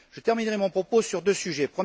Je terminerai mon propos par deux sujets.